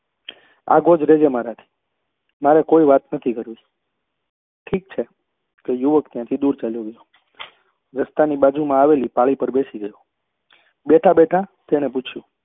આગો જ રેજે મારા થી મારે કોઈ વાત નથી કરવી ઠીક છે તે યુવક ત્યાં થી દુર ચાલ્યો ગયો રસ્તા ની બાજુ માં આવેલી પાળી પર બેસી ગયો બેઠા બેઠા તેને પૂછ્યું